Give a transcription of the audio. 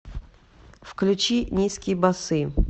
включи низкие басы